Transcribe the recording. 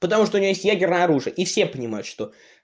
потому что у нее есть ядерное оружие и все понимают что